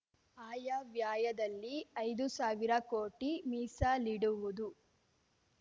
ಆಯವ್ಯಯದಲ್ಲಿ ಐದು ಸಾವಿರ ಕೋಟಿ ಮೀಸಲಿಡುವುದು